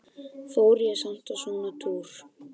Fer ég samt á svona túr?